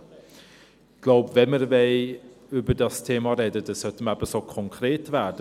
Ich glaube, wenn wir über dieses Thema sprechen wollen, sollten wir eben so konkret werden.